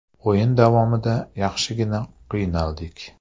O‘yin davomida yaxshigina qiynaldik.